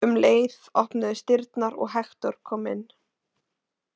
Um leið opnuðust dyrnar og Hektor kom inn.